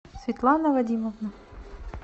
светлана вадимовна